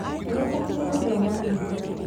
Nĩfatiĩ gũthoma mũno